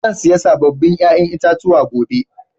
Zan siya sabobin ƴa'ƴan itatuwa gobe.